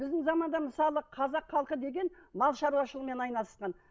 біздің заманда мысалы қазақ халқы деген мал шаруашылығымен айналысқан